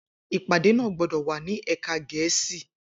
Ipade naa gbọdọ wa ni ẹka Gẹẹsi!